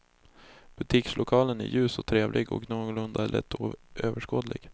Butikslokalen är ljus och trevlig och någorlunda lättöverskådlig.